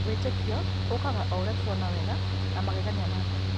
Wĩtĩkio ũũkaga o ũrĩa tũrona wega na magegania ma Ngai